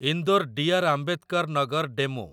Indore D R. Ambedkar Nagar DEMU